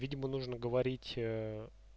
видимо нужно говорить